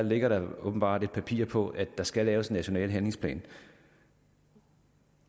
ligger der åbenbart et papir i på at der skal laves en national handlingsplan